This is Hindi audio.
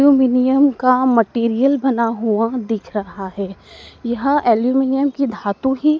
इल्युमिलियम का मटेरियल बना हुआ दिख रहा है यह एल्युमिनियम की धातु ही--